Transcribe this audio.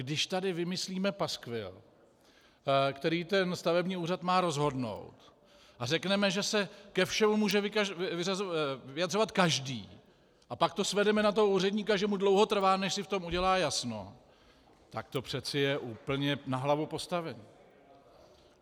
Když tady vymyslíme paskvil, který ten stavební úřad má rozhodnout, a řekneme, že se ke všemu může vyjadřovat každý, a pak to svedeme na toho úředníka, že mu dlouho trvá, než si v tom udělá jasno, tak to přeci je úplně na hlavu postavené.